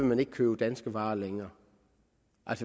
man ikke købe danske varer længere